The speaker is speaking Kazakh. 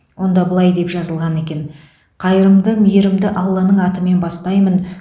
онда былай деп жазылған екен қайырымды мейірімді алланың атымен бастаймын